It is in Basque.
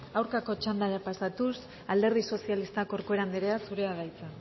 aurkako txanda pasatuz alderdi sozialista corcuera andrea zurea da hitza